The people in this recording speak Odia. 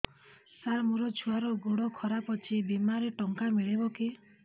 ସାର ମୋର ଛୁଆର ଗୋଡ ଖରାପ ଅଛି ବିମାରେ ଟଙ୍କା ମିଳିବ କି